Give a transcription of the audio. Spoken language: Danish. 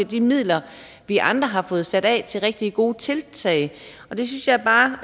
de midler vi andre har fået sat af til rigtig gode tiltag det synes jeg bare